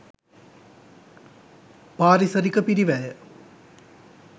පාරිසරික පිරිවැය